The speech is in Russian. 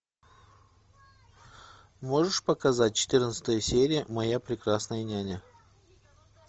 можешь показать четырнадцатая серия моя прекрасная няня